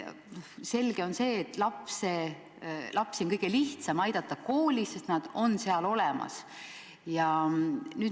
Selge on see, et lapsi on kõige lihtsam aidata koolis, sest nad on seal olemas.